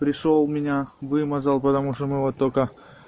пришёл меня вымазал потому что мы вот только